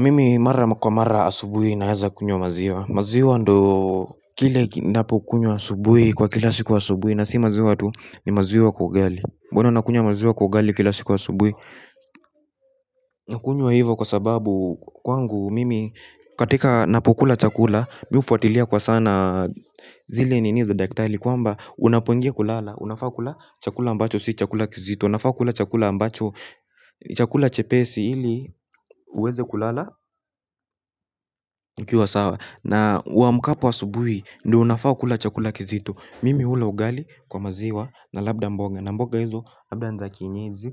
Mimi mara kwa mara asubuhi naweza kunywa maziwa. Maziwa ndio kile napo kunywa asubuhi kwa kila siku asubuhi na si maziwa tu ni maziwa kwa ugali huwana nakunywa maziwa kwa ugali kila siku asubuhi. Nakunywa hivyo kwa sababu kwangu mimi katika napo kula chakula. Mimi hufuatilia kwa sana zile niniza daktari. Kwamba unapoingia kulala, unafaa kula chakula ambacho, si chakula kizito. Unafaa kula chakula ambacho, chakula chepesi ili uweze kulala na uamkapo asubuhi ndiyo unafaa kula chakula kizito. Mimi hula ugali kwa maziwa na labda mboga labda niza kienyeji